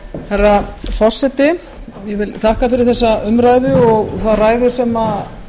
herra forseti ég vil þakka fyrir þessa umræðu og þá ræðu sem